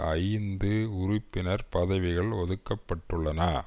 ஐந்து உறுப்பினர் பதவிகள் ஒதுக்கப்பட்டுள்ளன